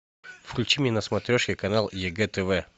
включи мне на смотрешке канал егэ тв